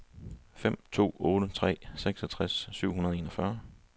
fem to otte tre seksogtres syv hundrede og enogfyrre